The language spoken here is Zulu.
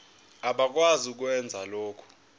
abakwazi ukwenza lokhu